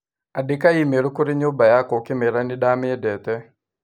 Andĩka i-mīrū kũrĩ nyumba yakwa ũkĩmeera nĩ ndĩamendete.